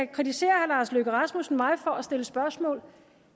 kritiserer herre lars løkke rasmussen mig for at stille spørgsmål